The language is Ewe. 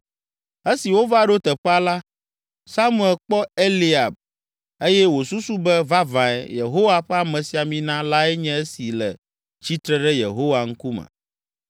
Esi wova ɖo teƒea la, Samuel kpɔ Eliab eye wòsusu be, “Vavãe, Yehowa ƒe amesiamina lae nye esi le tsitre ɖe Yehowa ŋkume.”